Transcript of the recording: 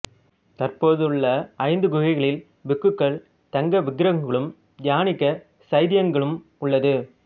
தற்போதுள்ள ஐந்து குகைகளில் பிக்குகள் தங்க விகாரங்களும் தியானிக்க சைத்தியங்களும் உள்ளது